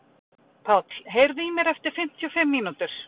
Páll, heyrðu í mér eftir fimmtíu og fimm mínútur.